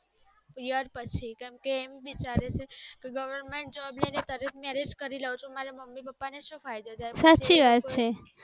પછી કેમ કે એમ વિચારે છે કે government job લયીને marriage કરી લિયુ ચુ તો મમી પાપા ને સુ ફાયદો થાય